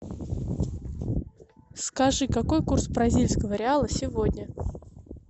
скажи какой курс бразильского реала сегодня